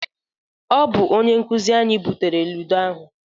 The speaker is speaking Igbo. Ọ bụ onye nkụzị anyị butere ludo ahụ.